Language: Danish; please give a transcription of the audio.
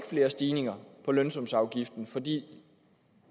flere stigninger på lønsumsafgiften fordi